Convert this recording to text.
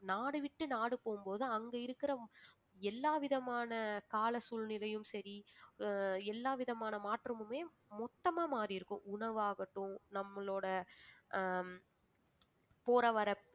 நாடு விட்டு நாடு போகும்போது அங்க இருக்கிற எல்லாவிதமான கால சூழ்நிலையும் சரி ஆஹ் எல்லாவிதமான மாற்றமுமே மொத்தமா மாறியிருக்கும் உணவாகட்டும் நம்மளோட ஆஹ் போற வர